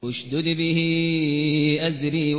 اشْدُدْ بِهِ أَزْرِي